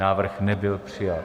Návrh nebyl přijat.